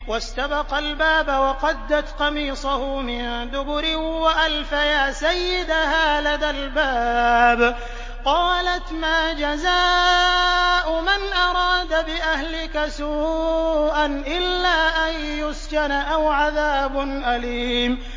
وَاسْتَبَقَا الْبَابَ وَقَدَّتْ قَمِيصَهُ مِن دُبُرٍ وَأَلْفَيَا سَيِّدَهَا لَدَى الْبَابِ ۚ قَالَتْ مَا جَزَاءُ مَنْ أَرَادَ بِأَهْلِكَ سُوءًا إِلَّا أَن يُسْجَنَ أَوْ عَذَابٌ أَلِيمٌ